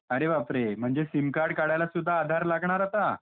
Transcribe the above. अरे बाप रे म्हणजे सिम कार्ड काढायला सुद्धा आधार लागणार आता !